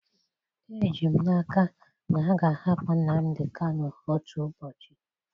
Eji m n'aka na a ga-ahapụ Nnamdi Kanu otu ụbọchị.